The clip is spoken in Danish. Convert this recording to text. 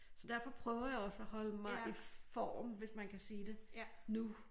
Så derfor prøver jeg også at holde mig i form hvis man kan sige det nu